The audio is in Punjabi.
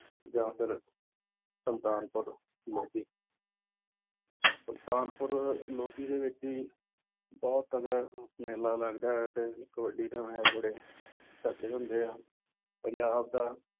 ਜਾਂ ਫਿਰ ਸੁਲਤਾਨਪੁਰ ਲੋਧੀ ਸੁਲਤਾਨਪੁਰ ਲੋਧੀ ਦੇ ਵਿੱਚ ਵੀ ਬਹੁਤ ਤਕੜਾ ਮੇਲਾ ਲੱਗਦਾ ਹੈ ਤੇ ਕਬੱਡੀ ਦੇ match ਬੜੇ ਤਕੜੇ ਹੁੰਦੇ ਆ, ਪੰਜਾਬ ਦਾ